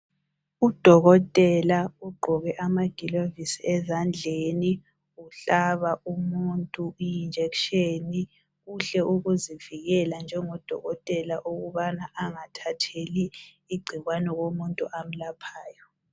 Udokotela ugqoke amagilovisi ezandleni uhlaba umuntu ijekiseni, kuhle ukuzivikela njengodolotela ukuze angathatheli igcikwane kumuntu amlaphayo.